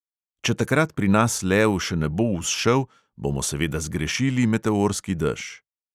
Če takrat pri nas lev še ne bo vzšel, bomo seveda zgrešili meteorski dež.